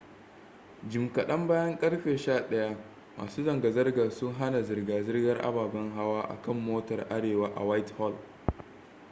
jim kadan bayan karfe 11:00 masu zanga-zangar sun hana zirga-zirgar ababen hawa a kan motar arewa a whitehall